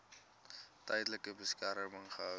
tydelike beskerming gehou